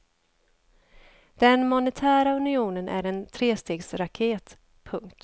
Den monetära unionen är en trestegsraket. punkt